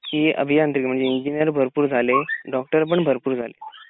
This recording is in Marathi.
त्यामुळे आता कस झालाय की अभियांत्रिकी म्हणजे इंजिअर भरपूर झाले.डॉक्टर पण भरपूर झाले.